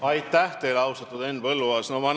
Aitäh teile, austatud Henn Põlluaas!